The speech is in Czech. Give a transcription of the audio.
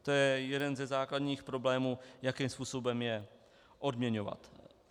To je jeden ze základních problémů, jakým způsobem je odměňovat.